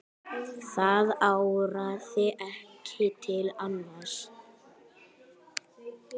Það áraði ekki til annars.